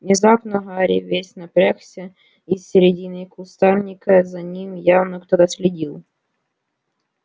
внезапно гарри весь напрягся из середины кустарника за ним явно кто-то следил